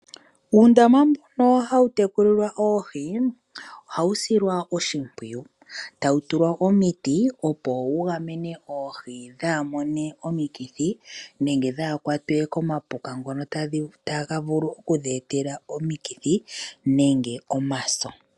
Uundama mbu ha wu tekulilwa oohi ohawu silwa oshipwiyu tawu tulwa omiti opo wu gamene oohi dha mone omikithi nenge dhaakwatwe komapuka ngoka taga vulu oku dhi etela omikithi nenge omaso.